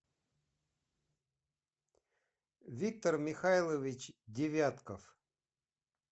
виктор михайлович девятков